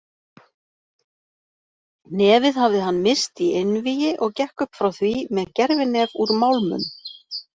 Nefið hafið hann missti í einvígi og gekk upp frá því með gervinef úr málmum.